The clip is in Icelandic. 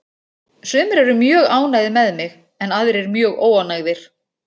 Sumir eru mjög ánægðir með mig en aðrir mjög óánægðir.